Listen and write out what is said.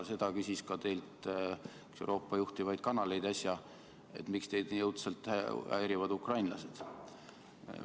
Seda küsis teilt äsja ka üks Euroopa juhtivaid kanaleid, et miks teid nii õudselt häirivad ukrainlased.